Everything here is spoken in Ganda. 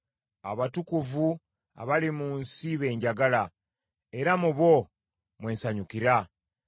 Abatukuvu abali mu nsi be njagala era mu bo mwe nsanyukira.